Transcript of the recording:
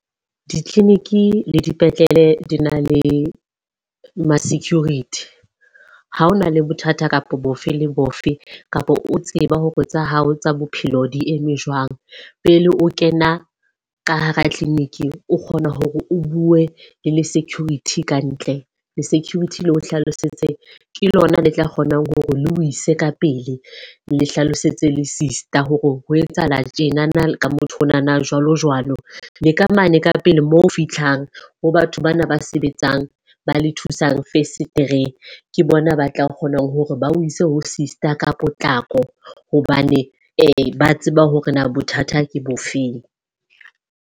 Di-clinic le dipetlele di na le ma-security. Ha ho na le bothata kapa bofe le bofe kapa o tseba hore tsa hao tsa bophelo di eme jwang. Pele o kena ka hara clinic, o kgona hore o bue le le security kantle. Le security le o hlalosetse ke lona le tla kgonang hore le o ise ka pele, le hlalosetse le sister hore ho etsahala tjenana ka motho onana jwalo jwalo. Le ka mane ka pele mo o fihlang ho batho bana ba sebetsang ba le thusang fesetereng. Ke bona ba tla kgonang hore ba o ise ho sister ka potlako hobane ba tseba hore na bothata ke bofeng.